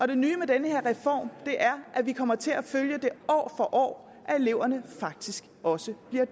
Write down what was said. det nye med den her reform er at vi kommer til at følge at eleverne faktisk også bliver